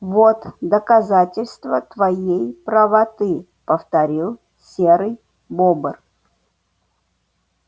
вот доказательство твоей правоты повторил серый бобр